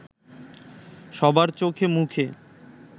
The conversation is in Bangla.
সবার চোখে মুখে